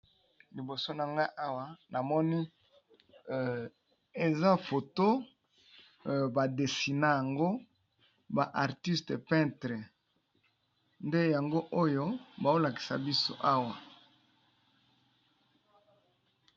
Liboso na nga namoni awa eza foto ba dessiner yango na ba artiste peintre nde yango oyo bazolakisa biso.